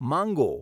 માંગો